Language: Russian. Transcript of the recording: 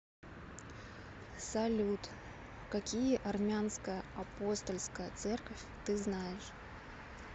салют какие армянская апостольская церковь ты знаешь